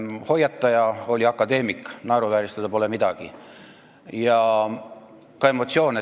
Hoiataja oli akadeemik – naeruvääristada pole siin midagi.